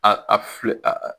A a a filɛ a